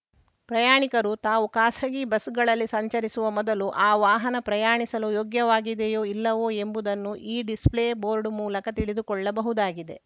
ಪ್ರಯಾಣಿಕರು ತಾವು ಖಾಸಗಿ ಬಸ್‌ಗಳಲ್ಲಿ ಸಂಚರಿಸುವ ಮೊದಲು ಆ ವಾಹನ ಪ್ರಯಾಣಿಸಲು ಯೋಗ್ಯವಾಗಿದೆಯೋ ಇಲ್ಲವೋ ಎಂಬುದನ್ನು ಈ ಡಿಸ್‌ಪ್ಲೇ ಬೋರ್ಡ್‌ ಮೂಲಕ ತಿಳಿದುಕೊಳ್ಳಬಹುದಾಗಿದೆ